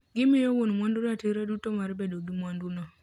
Gimiyo wuon mwandu ratiro duto mar bedo gi mwandu no